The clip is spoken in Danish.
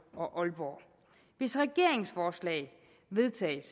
og aalborg hvis regeringens forslag vedtages